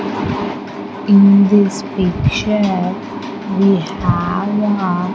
in this picture we have a --